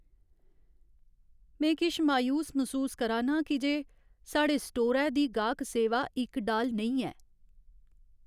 में किश मायूस मसूस करा नां की जे साढ़े स्टोरै दी गाह्क सेवा इक डाल नेईं ऐ।